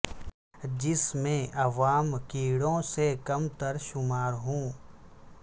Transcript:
جس میں عوام کیڑوں سے کم تر شمار ہوں